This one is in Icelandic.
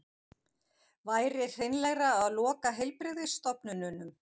Væri hreinlegra að loka heilbrigðisstofnunum